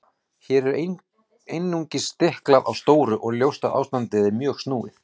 Hér er einungis stiklað á stóru og ljóst að ástandið er mjög snúið.